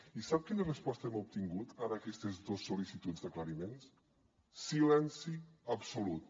i sap quina resposta hem obtingut a aquestes dos sol·licituds d’aclariments silenci absolut